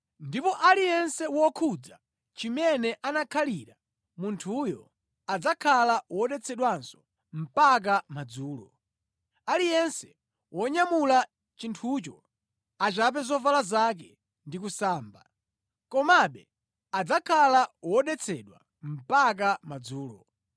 Ndipo aliyense wokhudza chimene anakhalira munthuyo adzakhala wodetsedwanso mpaka madzulo. Aliyense wonyamula chinthucho achape zovala zake ndi kusamba. Komabe adzakhala wodetsedwa mpaka madzulo.